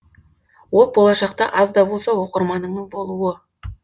ол болашақта аз да болса оқырманыңның болуы